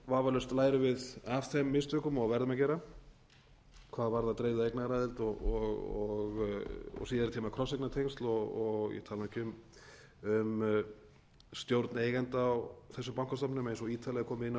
vafalaust lærum við af þeim mistökum og verðum að gera hvað varðar dreifða eignaraðild og síðari tíma krosseignatengsl og ég tala nú ekki um stjórn eigenda á þessum bankastofnunum eins og ítarlegar er komið inn á